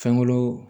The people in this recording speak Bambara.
Fɛnkolo